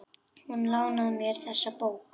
Hún lánaði mér þessa bók.